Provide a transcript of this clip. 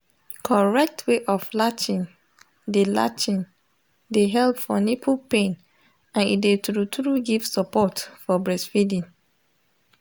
correct way of latching de latching de help for nipple pain and e de true true give support for breastfeeding